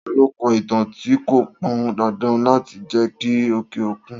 Ta lo kọ ìtàn tí kò pan dandan láti jẹ ti òkè òkun